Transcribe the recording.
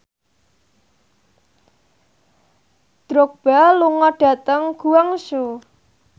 Drogba lunga dhateng Guangzhou